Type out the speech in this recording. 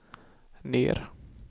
ner